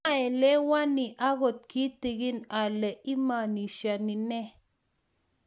Maelewani agot kitikin ale imanishani nee